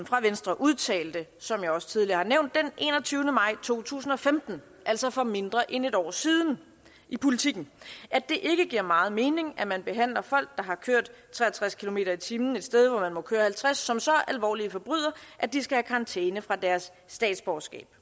fra venstre udtalte som jeg også tidligere har nævnt den enogtyvende maj to tusind og femten altså for mindre end et år siden i politiken at det ikke giver meget mening at man behandler folk der har kørt tre og tres kilometer per time et sted hvor man må køre halvtreds kmt som så alvorlige forbrydere at de skal have karantæne fra deres statsborgerskab